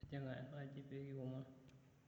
Tijing'a enaaji pee kiomon.